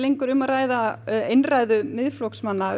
um að ræða eintal Miðflokksmanna